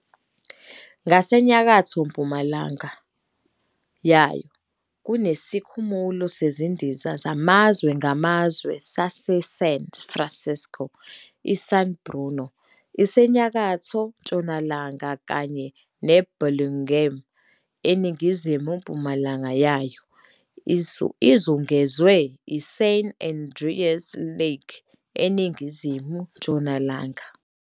Ngasenyakatho-mpumalanga yayo kuneSikhumulo Sezindiza Samazwe Ngamazwe SaseSan Francisco, iSan Bruno isenyakatho-ntshonalanga, kanye neBurlingame eningizimu-mpumalanga yayo. Izungezwe yiSan Andreas Lake eningizimu-ntshonalanga.